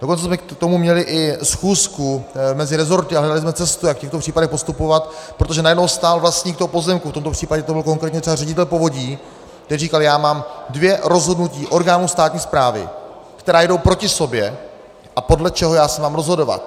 Dokonce jsme k tomu měli i schůzku mezi resorty a hledali jsme cestu, jak v těchto případech postupovat, protože najednou stál vlastník toho pozemku, v tomto případě to byl konkrétně třeba ředitel povodí, který říkal: Já mám dvě rozhodnutí orgánů státní správy, která jdou proti sobě, a podle čeho já se mám rozhodovat?